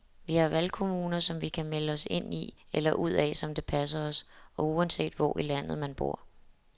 Vi har valgkommuner, som vi kan melde os ind i eller ud af som det passer os og uanset hvor i landet man bor.